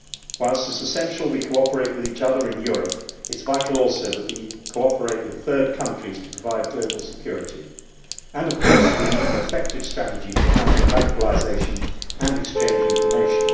Whilst it is essential we cooperate with each other in Europe, it is vital also that we cooperate with third countries to provide global security, and of course we need an effective strategy to counter radicalisation and exchange information.